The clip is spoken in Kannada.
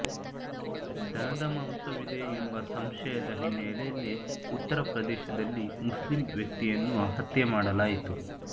ದನದ ಮಾಂಸವಿದೆ ಎಂಬ ಸಂಶಯದ ಹಿನ್ನೆಲೆಯಲ್ಲಿ ಉತ್ತರ ಪ್ರದೇಶದಲ್ಲಿ ಮುಸ್ಲಿಮ್ ವ್ಯಕ್ತಿಯನ್ನು ಹತ್ಯೆ ಮಾಡಲಾಯಿತು